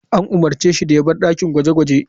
An umarce shi da ya bar dakin gwaje-gwaje.